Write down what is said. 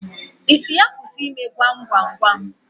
Ị sị ya kwụsị ime gwam gwam gwam?